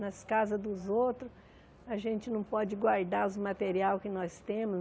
Nas casas dos outros, a gente não pode guardar os materiais que nós temos.